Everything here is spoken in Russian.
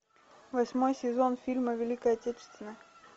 восьмой сезон фильма великая отечественная